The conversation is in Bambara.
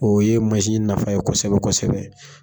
O ye mansin nafa ye kosɛbɛ kosɛbɛ